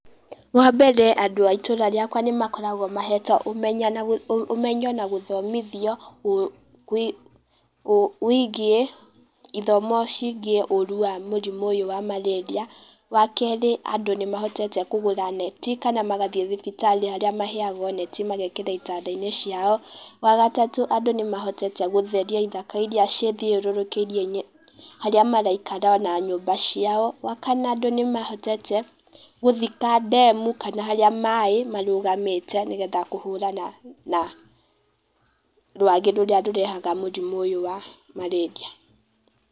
Wa mbere andũ a itũra rĩakwa nĩ makoragwo mehetwo ũmenyo na gũthomithio wĩgie, ithomo ciĩgie ũũru wa mũrimũ ũyũ wa marĩria. Wa kerĩ andũ nĩ mahotete kũgũra neti kana magathiĩ thibitarĩ harĩa maheagwo neti magekĩra itanda-inĩ ciao. Wa gatatũ andũ nĩ mahotete gũtheria ithaka iria cithiũrũrũkĩirie harĩa maraikara ona nyũmba ciao. Wa kana andũ nĩ mahotete gũthika ndemu kana harĩa maĩ marũgamĩte, nĩgetha kũhũrana na rwagĩ rũrĩa rũrehaga mũrimũ ũyũ wa marĩria.